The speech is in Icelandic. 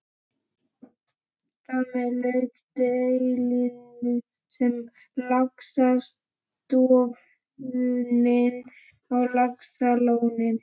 Þar með lauk deilunni um laxastofninn á Laxalóni.